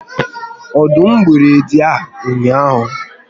Ọdụm gburu edi a ụnyaahụ?